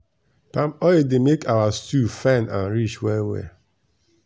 palm oil dey make our stew fine and rich well well.